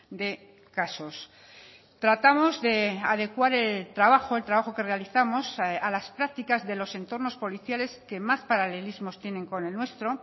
de casos tratamos de adecuar el trabajo el trabajo que realizamos a las prácticas de los entornos policiales que más paralelismos tienen con el nuestro